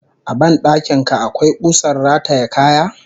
A ban dakin ka akwai kusar rataye kaya?